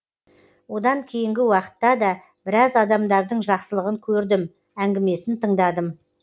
одан кейінгі уақытта да біраз адамдардың жақсылығын көрдім әңгімесін тыңдадым